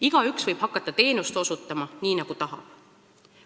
Igaüks võib hakata teenust osutama, nii nagu tahab.